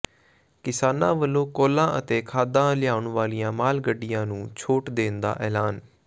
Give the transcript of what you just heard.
ਕਿਸਾਨਾਂ ਵਲੋਂ ਕੋਲਾ ਅਤੇ ਖਾਦਾਂ ਲਿਆਉਣ ਵਾਲੀਆਂ ਮਾਲ ਗੱਡੀਆਂ ਨੂੰ ਛੋਟ ਦੇਣ ਦਾ ਐਲਾਨ